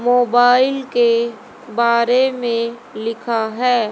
Mobile के बारे में लिखा है।